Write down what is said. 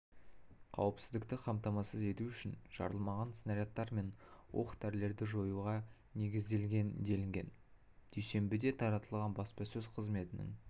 қауіпсіздікті қамтамасыз ету үшін жарылмаған снарядтар мен оқ-дәрілерді жоюға негізделген делінген дүйсенбіде таратылған баспасөз қызметінің